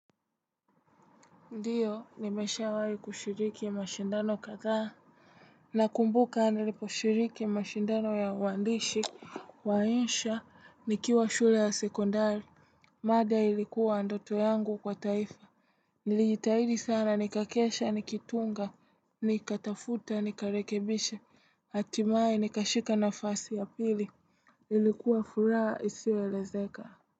Ndiyo, nimeshawahi kushiriki mashindano kadhaa. Nakumbuka niliposhiriki mashindano ya waandishi, wa insha, nikiwa shule ya sekondari. Mada ilikuwa ndoto yangu kwa taifa. Nilijitahidi sana, nikakesha, nikitunga, nikatafuta, nikarekebishe, hatimaye, nikashika nafasi ya pili. Ilikuwa furaha, isiyoelezeka.